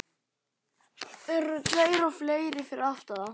Þeir eru tveir og fleiri fyrir aftan þá.